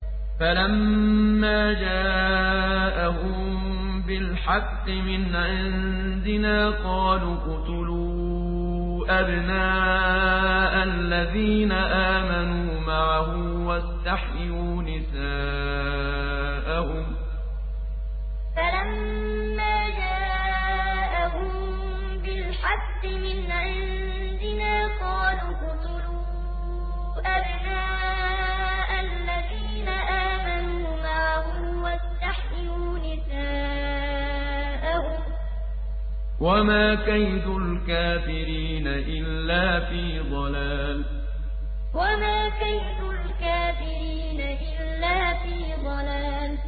فَلَمَّا جَاءَهُم بِالْحَقِّ مِنْ عِندِنَا قَالُوا اقْتُلُوا أَبْنَاءَ الَّذِينَ آمَنُوا مَعَهُ وَاسْتَحْيُوا نِسَاءَهُمْ ۚ وَمَا كَيْدُ الْكَافِرِينَ إِلَّا فِي ضَلَالٍ فَلَمَّا جَاءَهُم بِالْحَقِّ مِنْ عِندِنَا قَالُوا اقْتُلُوا أَبْنَاءَ الَّذِينَ آمَنُوا مَعَهُ وَاسْتَحْيُوا نِسَاءَهُمْ ۚ وَمَا كَيْدُ الْكَافِرِينَ إِلَّا فِي ضَلَالٍ